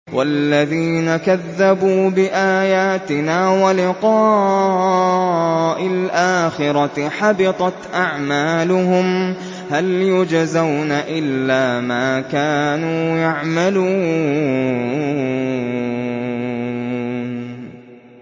وَالَّذِينَ كَذَّبُوا بِآيَاتِنَا وَلِقَاءِ الْآخِرَةِ حَبِطَتْ أَعْمَالُهُمْ ۚ هَلْ يُجْزَوْنَ إِلَّا مَا كَانُوا يَعْمَلُونَ